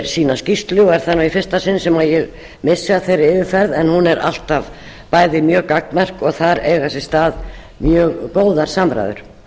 sína skýrslu og er það í fyrsta sinn sem ég missi af þeirri yfirferð en hún er alltaf mjög gagnmerk og þar eiga sér stað mjög góðar samræður